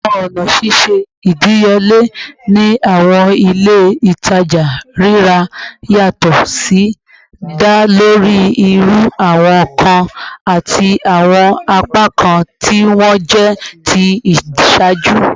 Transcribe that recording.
Awọn ọna ṣiṣe idiyele ni awọn ile-itaja rira yatọ si da lori iru awọn nkan ati awọn apakan ti wọn jẹ ti iṣaaju